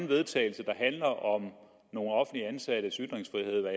vedtagelse der handler om nogle offentligt ansattes ytringsfrihed